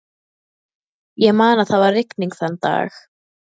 Ég man að það var rigning þann dag.